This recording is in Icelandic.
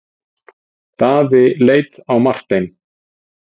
Daði leit á Martein.